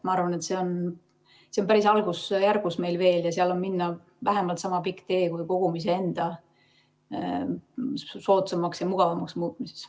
Ma arvan, et see on meil päris algusjärgus veel ja seal on minna vähemalt niisama pikk tee kui kogumise enda soodsamaks ja mugavamaks muutmisel.